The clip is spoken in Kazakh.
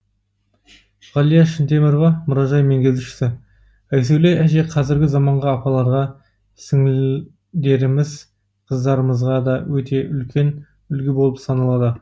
ғалия шынтемірова мұражай меңгерушісі айсәуле әже қазіргі заманғы апаларға сіңілдеріміз қыздарымызға да өте үлкен үлгі болып саналады